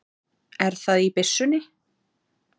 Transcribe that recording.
Er það í byssunni?